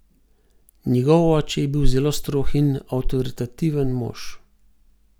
Njegov oče je bil zelo strog in avtoritativen mož.